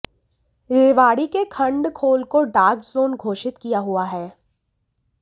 रेवाड़ी के खंड खोल को डार्क जोन घोषित किया हुआ है